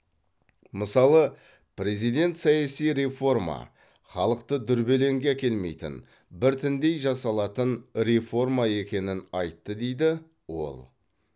мысалы президент саяси реформа халықты дүрбелеңге әкелмейтін біртіндей жасалатын реформа екенін айтты дейді ол